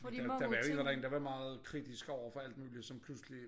Der der var jo en eller anden der var meget kritisk overfor alt muligt som pludselig